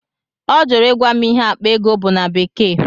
Ọ jụrụ ịgwa m ịhe akpa ego bụ na bekee.